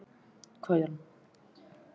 Idda, hvað er lengi opið í Byko?